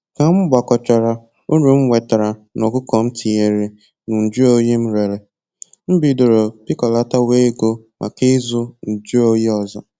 Ka m gbakọchara uru m nwetara n'ọkụkọ m tinyere na njụ oyi m rere, m bidoro pịkọlatawa ego maka ịzụ njụ oyi ọzọ